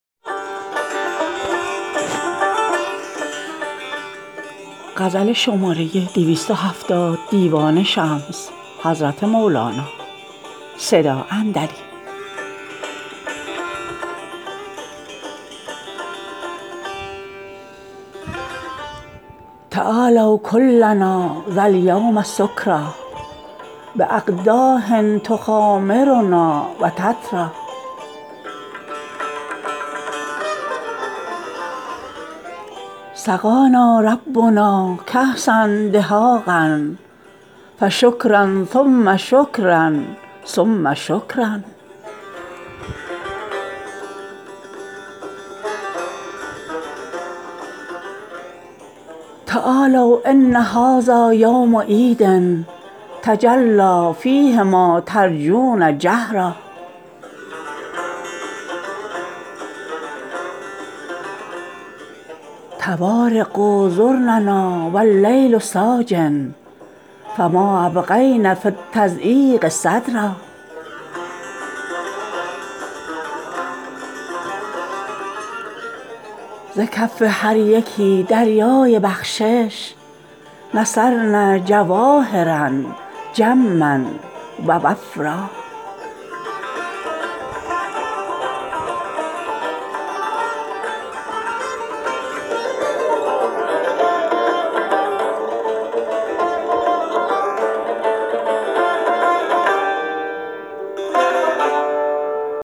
تعالوا کلنا ذا الیوم سکری باقداح تخامرنا و تتری سقانا ربنا کاسا دهاقا فشکرا ثم شکرا ثم شکرا تعالوا ان هذا یوم عید تجلی فیه ما ترجون جهرا طوارق زرننا و اللیل ساجی فما ابقین فی التضییق صدرا ز کف هر یکی دریای بخشش نثرن جواهرا جما و وفرا